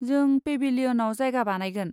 जों पेभिलियनआव जायगा बानायगोन।